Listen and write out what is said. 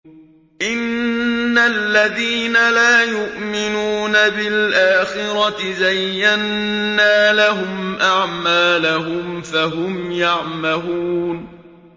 إِنَّ الَّذِينَ لَا يُؤْمِنُونَ بِالْآخِرَةِ زَيَّنَّا لَهُمْ أَعْمَالَهُمْ فَهُمْ يَعْمَهُونَ